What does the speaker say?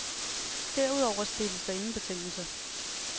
Derudover stilles der ingen betingelser.